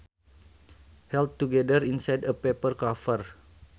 held together inside a paper cover